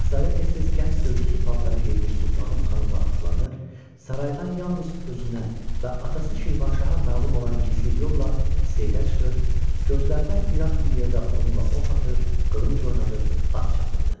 Şahzadə tez-tez gənc döyüşçü paltarı geymiş Sultanım xanımla atlanır, saraydan yalnız özünə və atası Şirvanşaha məlum olan gizli yolla seyrə çıxır, gözlərdən iraq bir yerdə onunla ox atır, qılınc oynadır, at çapırdı.